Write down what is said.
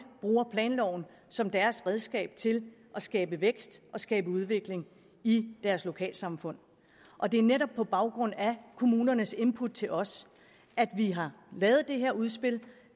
bruger planloven som deres redskab til at skabe vækst og skabe udvikling i deres lokalsamfund og det er netop på baggrund af kommunernes input til os at vi har lavet det her udspil